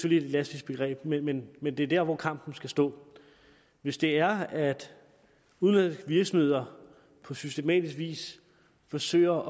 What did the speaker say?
et elastisk begreb men men det er jo dér hvor kampen skal stå hvis det er at udenlandske virksomheder på systematisk vis forsøger